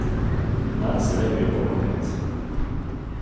Nanj se lepijo kot magnet.